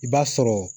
I b'a sɔrɔ